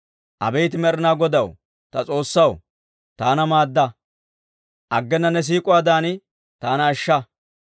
Abeet Med'inaa Godaw ta S'oossaw, taana maadda; aggena ne siik'uwaadan taana ashsha.